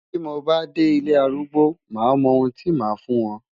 Bí mo bá dé ilé arúgbó máa mọ ohun tí màá fún wọn.